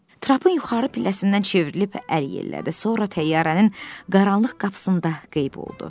Trapın yuxarı pilləsindən çevrilib əl yellədi, sonra təyyarənin qaranlıq qapısında qeyb oldu.